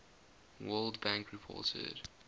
world bank reported